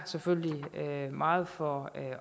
selvfølgelig takker meget for